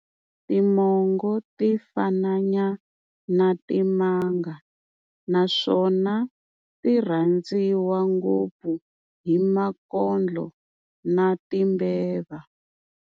Timongo ti fananyana na timanga naswona ti rhanziwa ngopfu hi makondlo na timbeva.